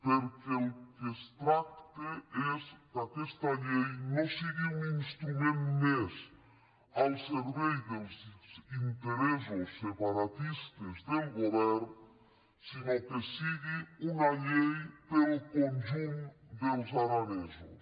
perquè del que es tracta és que aquesta llei no sigui un instrument més al servei dels interes·sos separatistes del govern sinó que sigui una llei per al conjunt dels aranesos